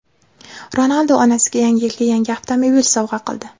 Ronaldu onasiga Yangi yilga yangi avtomobil sovg‘a qildi.